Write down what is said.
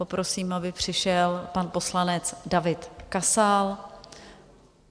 Poprosím, aby přišel pan poslanec David Kasal.